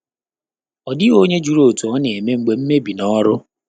Ọ́ dị́ghị́ ọ́nyé jụ́rụ̀ ótú ọ́ nà-émé mgbè mmèbí nà ọ́rụ́.